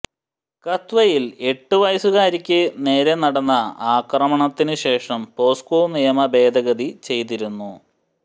കത്വയിൽ എട്ട് വയസ്സുകാരിക്ക് നേര നടന്ന ആക്രമണത്തിന് ശേഷം പോക്സോ നിയമ ഭേദഗതി ചെയ്തിരുന്നു